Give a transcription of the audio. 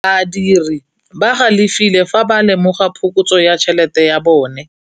Badiri ba galefile fa ba lemoga phokotsô ya tšhelête ya bone.